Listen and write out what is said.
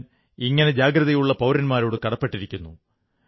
ഞാൻ ഇങ്ങനെ ജാഗ്രതയുള്ള പൌരന്മാരോട് കടപ്പെട്ടിരിക്കുന്നു